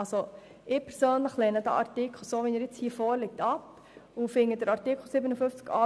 Ich persönlich lehne den nun vorliegenden Artikel ab.